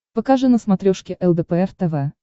покажи на смотрешке лдпр тв